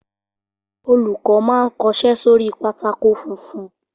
Olùkọ́ má n kọsẹ́ sórí pátákó funfun